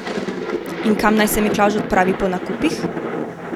In kam naj se Miklavž odpravi po nakupih?